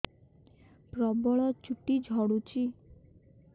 ପ୍ରବଳ ଚୁଟି ଝଡୁଛି